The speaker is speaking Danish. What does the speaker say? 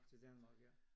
Til Danmark ja